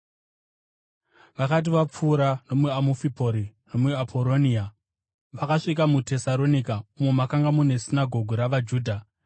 Vakati vapfuura nomuAmufipori neAporonia, vakasvika muTesaronika umo makanga mune sinagoge ravaJudha.